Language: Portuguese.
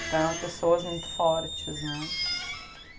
Então, pessoas muito fortes, né?